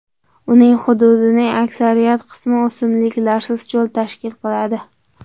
Uning hududining aksariyat qismini o‘simliklarsiz cho‘l tashkil etadi.